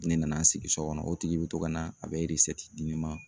Ne nana sigi so kɔnɔ o tigi be to ka na a bɛ di ne ma